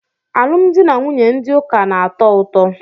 Alụmdi na nwunye ndị ụka na-atọ ụtọ.